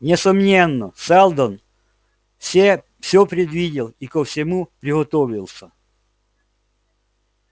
несомненно сэлдон все всё предвидел и ко всему приготовился